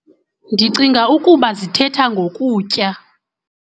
Ndicinga ukuba zithetha ngokutya.